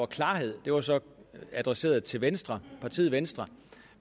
klarhed det var så adresseret til venstre til venstre